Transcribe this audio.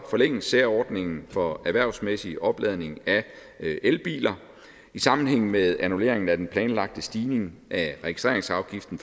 forlænges særordningen for erhvervsmæssig opladning af elbiler i sammenhæng med annullering af den planlagte stigning af registreringsafgiften